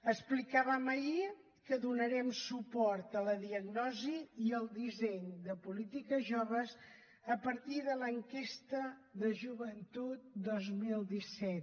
explicàvem ahir que donarem suport a la diagnosi i al disseny de polítiques joves a partir de l’enquesta de joventut dos mil disset